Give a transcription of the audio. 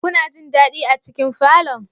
Kuna jin dadi a cikin falon?